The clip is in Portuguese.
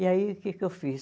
E aí, o que que eu fiz?